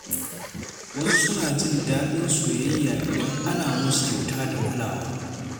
Wasu suna jin daɗin soyayya idan ana musu kyauta da kulawa.